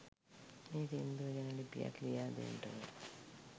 මේ සිංදුව ගැන ලිපියක් ලියා දෙන්ටකෝ